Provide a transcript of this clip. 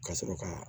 Ka sɔrɔ ka